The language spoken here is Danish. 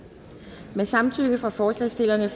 med samtykke fra forslagsstillerne